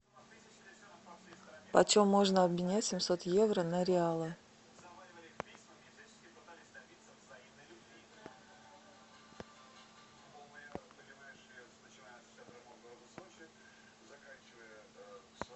почем можно обменять семьсот евро на реалы